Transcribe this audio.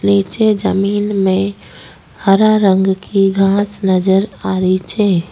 निचे जमीन में हरा रंग की घास नजर आ री छे।